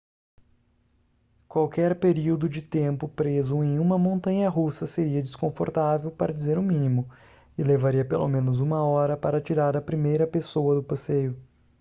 qualquer período de tempo preso em uma montanha-russa seria desconfortável para dizer o mínimo e levaria pelo menos uma hora para tirar a primeira pessoa do passeio